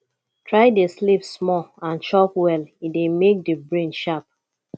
try de sleep small and chop well e de make di brain sharp